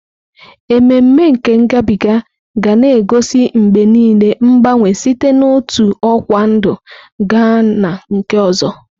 Ememe nke ngabiga ga na-egosi mgbe niile mgbanwe site n'otu ọkwa ndụ gaa na nke ọzọ.